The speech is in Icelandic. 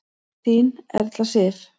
Þín Erla Sif.